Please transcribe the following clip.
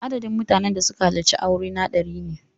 Adadin mutanen da suka halarci aurena dari ne.